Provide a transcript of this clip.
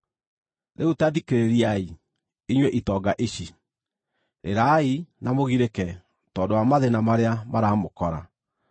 Rĩu ta thikĩrĩriai, inyuĩ itonga ici, rĩrai na mũgirĩke tondũ wa mathĩĩna marĩa maramũkora.